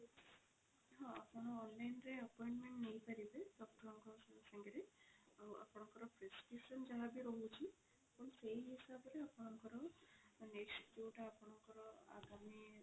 ହଁ ଆପଣ online ରେ appoinment ନେଇ ପାରିବେ doctor ଙ୍କ ସାଙ୍ଗରେ ଆଉ ଆପଣଙ୍କ prescription ଯାହାବି ରହୁଛି ଆପଣ ସେଇ ହିସାବରେ ଆପଣଙ୍କର next ଯୋଉଟା ଆପଣଙ୍କର ଆଗାମୀ